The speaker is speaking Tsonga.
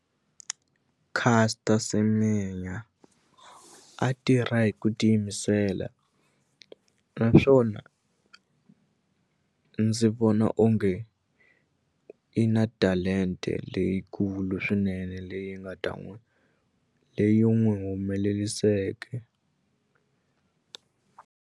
Caster Semenya a tirha hi ku tiyimisela naswona ndzi vona onge nge i na talente leyikulu swinene leyi nga ta n'wi leyi n'wi humeleliseke.